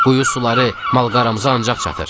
"Quyu suları malqaramıza ancaq çatır."